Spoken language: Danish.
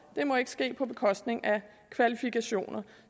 det må ikke ske på bekostning af kvalifikationer